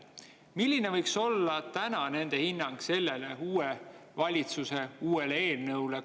Milline võiks olla täna nende hinnang sellele uue valitsuse uuele eelnõule?